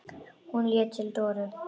Hún leit til Dóru.